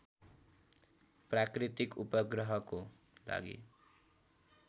प्राकृतिक उपग्रहको लागि